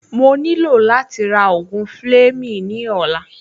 Mo nílò láti ra ògùn Fleming ní ọ̀la